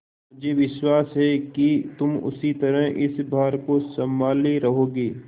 मुझे विश्वास है कि तुम उसी तरह इस भार को सँभाले रहोगे